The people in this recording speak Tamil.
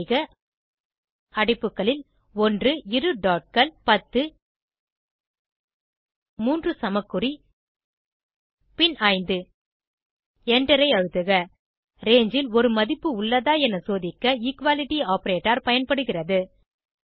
டைப் செய்க அடைப்புகளில் 1 இரு dotகள் 10 மூன்று சமக்குறி பின் 5 எண்டரை அழுத்துக ரங்கே ல் ஒரு மதிப்பு உள்ளதா என சோதிக்க எக்வாலிட்டி ஆப்பரேட்டர் பயன்படுகிறது